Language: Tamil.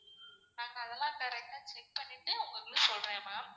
நாங்க அதெல்லாம் correct ஆ check பண்ணிட்டு உங்ககிட்ட சொல்றேன் ma'am.